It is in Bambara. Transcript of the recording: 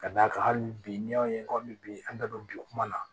Ka d'a kan hali bi n'i y'a ye komi bi an da don bi kuma na